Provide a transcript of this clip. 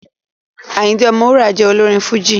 Àyìndé Ọmọwúrà jẹ́ olórin Fújì